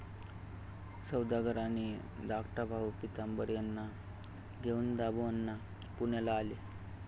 सौदागर आणि धाकटा भाऊ पितांबर यांना घेऊन दामुअण्णा पुण्याला आले.